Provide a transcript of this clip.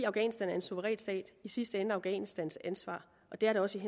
afghanistan er en suveræn stat i sidste ende afghanistans ansvar og det er det også i